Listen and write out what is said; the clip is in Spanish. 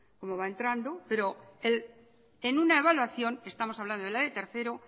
cómo va entrando pero en una evaluación estamos hablando de la de tercero